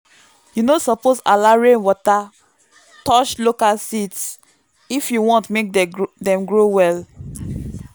you no suppose allow rainwater touch local seeds if you want make dem grow well.